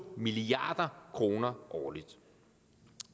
milliard kroner årligt